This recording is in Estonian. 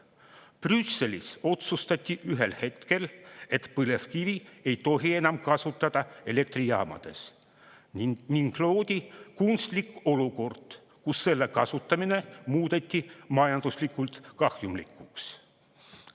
Brüsselis otsustati ühel hetkel, et põlevkivi ei tohi enam elektrijaamades kasutada, ning loodi kunstlik olukord, kus selle kasutamine muudeti majanduslikult kahjumlikuks.